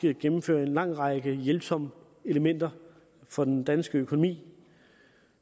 gennemfører en lang række hjælpsomme elementer for den danske økonomi